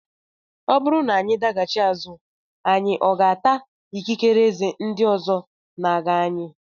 Ọ bụrụ na anyị daghachi azụ anyị aga ata ikikere eze na ndị ọzọ na-aga anyị?